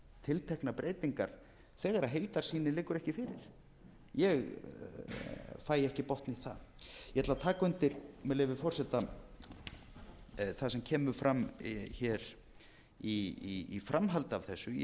tilteknar breytingar þegar heildarsýnin liggur ekki fyrir ég fæ ekki botn í það ég ætla að taka undir með leyfi forseta það sem kemur fram í framhaldi af þessu í nefndarálit